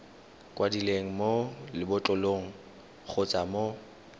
kwadilweng mo lebotlolong kgotsa mo